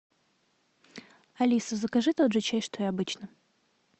алиса закажи тот же чай что и обычно